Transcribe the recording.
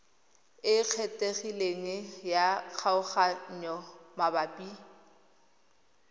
e kgethegileng ya kgaoganyo mabapi